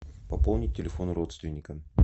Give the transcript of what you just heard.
пополнить телефон родственника